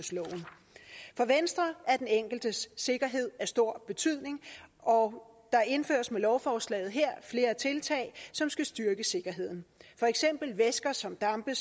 for venstre er den enkeltes sikkerhed af stor betydning og der indføres med lovforslaget her flere tiltag som skal styrke sikkerheden for eksempel væsker som dampe